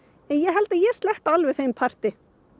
en ég held að ég sleppi alveg þeim parti